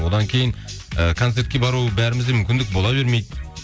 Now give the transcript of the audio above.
одан кейін і концертке бару бәрімізде мүмкіндік бола бермейді